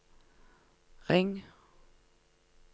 ring